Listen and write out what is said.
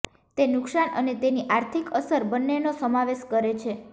તે નુકસાન અને તેની આર્થિક અસર બંનેનો સમાવેશ કરે છે